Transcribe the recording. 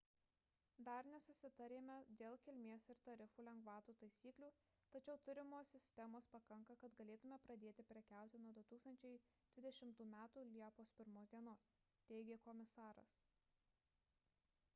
dar nesusitarėme dėl kilmės ir tarifų lengvatų taisyklių tačiau turimos sistemos pakanka kad galėtume pradėti prekiauti nuo 2020 m liepos 1 d teigė komisaras